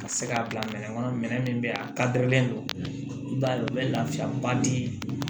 Ka se k'a bila minɛ kɔnɔ minɛn min bɛ yen a ka dɛrɛlen don i b'a ye u bɛ lafiya ba di